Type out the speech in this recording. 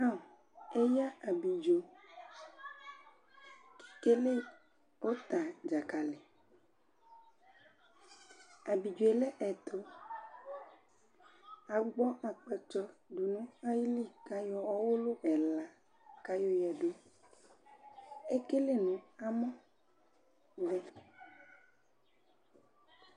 Eya ablidzo ekele utabdzakali , Ablidzo lɛ ɛtu Agbɔ akpatsu du nu ayili Ekele nu amɔ vɛ